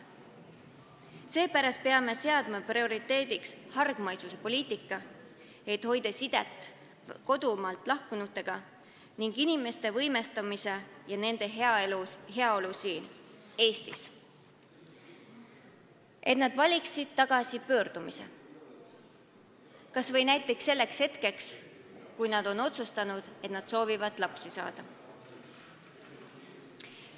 Seepärast peame seadma prioriteediks hargmaisuse poliitika, et hoida sidet kodumaalt lahkunutega, ning inimeste võimestamise ja nende heaolu siin Eestis, et nad valiksid tagasipöördumise kas või näiteks sellel hetkel, kui nad on otsustanud, et soovivad lapsi saada.